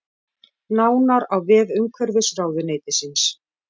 Nánar á vef umhverfisráðuneytisins